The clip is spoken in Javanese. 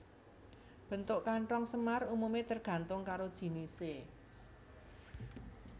Bentuk kanthong semar umumé tergantung karo jinisé